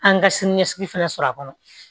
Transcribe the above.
An ka siniɲɛsigi fana sɔrɔ a kɔnɔ